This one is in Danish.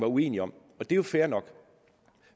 uenige om og det er jo fair nok